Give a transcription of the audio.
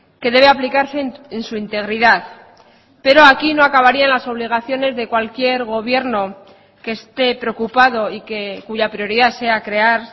que debe aplicarse en su integridad pero aquí no acabaría las obligaciones de cualquier gobierno que esté preocupado y que cuya prioridad sea crear